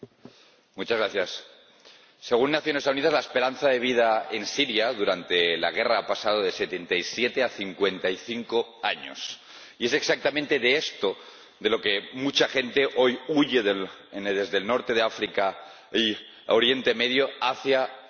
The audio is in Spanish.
Señor Presidente, según las Naciones Unidas, la esperanza de vida en Siria durante la guerra ha pasado de 77 a 55 años y es exactamente de esto de lo que mucha gente hoy huye desde el norte de África y Oriente Próximo hacia Europa.